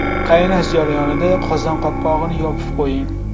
Qaynash jarayonida qozon qopqog‘ini yopib qo‘ying.